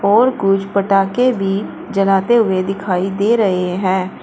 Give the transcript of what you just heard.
और कुछ पटाखे भी जलाते हुए दिखाई दे रहे हैं।